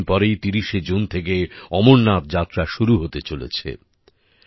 চার দিন পরেই ৩০শে জুন থেকে অমরনাথ যাত্রা শুরু হতে চলেছে